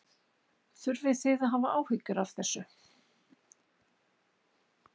Þurfið þið að hafa áhyggjur af þessu?